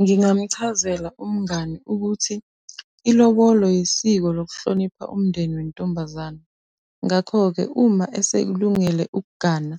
Ngingamuchazela umngani ukuthi ilobolo yisiko lokuhlonipha umndeni wentombazane. Ngakho-ke uma esekulungele ukugana,